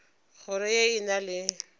kgoro ye e na le